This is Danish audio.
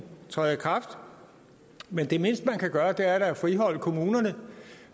træder i kraft men det mindste man kan gøre er da at friholde kommunerne